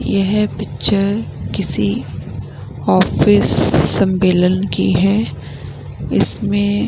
यह पिक्चर किसी ऑफिस सम्बेलन की है इसमें --